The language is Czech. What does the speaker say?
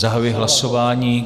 Zahajuji hlasování.